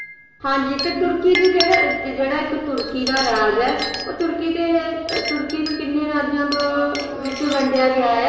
ਹਾਂ ਜੀ ਤੁਰਕੀ ਦਾ ਜਿਹੜਾ ਇੱਕ ਯਰਾਜ ਹੈ ਉਹ ਤੁਰਕੀ ਨੂੰ ਕਿੰਨੇ ਰਾਜਾਂ ਵਿੱਚ ਵੰਡਿਆ ਗਿਆ ਹੈ?